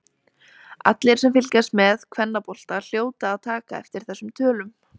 Allir sem fylgjast með kvennabolta hljóta að taka eftir þessum tölum.